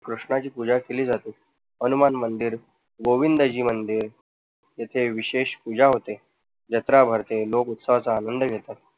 कृष्णाची पूजा केली जाते. हनुमान मंदिर, गोविंदजी मंदिर इथे विशेष पूजा होते, जत्र भरते, लोक उत्साहाचा आनंद घेतात.